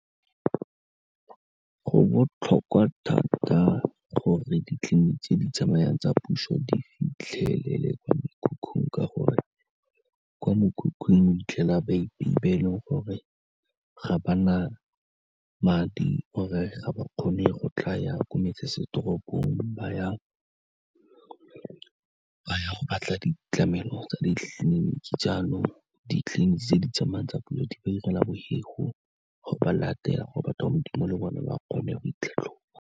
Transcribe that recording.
Go botlhokwa thata gore ditleliniki tse di tsamayang tsa puso di fitlhelele kwa mekhukhung, ka gore kwa mekhukhung o 'itlhela baepei ba e le goreng ga ba na madi or-e ga ba kgone go tlaya ko metsesetoropong ba ya go batla ditlamelo tsa ditleliniki, jaanong ditleliniki tse di tsamayang tsa puso di ba 'irela gore ba late gore batho ba Modimo le bone ba kgone go itlhatlhoba.